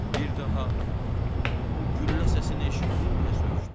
Bir daha bu güllə səsini eşitdin deyə soruşdum.